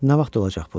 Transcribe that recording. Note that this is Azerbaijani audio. Nə vaxt olacaq bu?